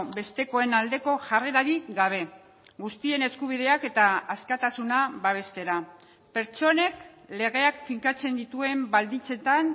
bestekoen aldeko jarrerarik gabe guztien eskubideak eta askatasuna babestera pertsonek legeak finkatzen dituen baldintzetan